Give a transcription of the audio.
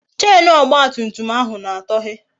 Chenu ọgba tum tum ahụ na-atọhe